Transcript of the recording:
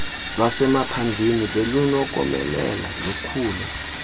lwasemaphandleni belunokomelela lukhule